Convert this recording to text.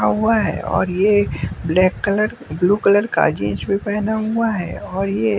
हुआ है और ये ब्लैक कलर ब्लू कलर का जींस भी पहना हुआ है और ये--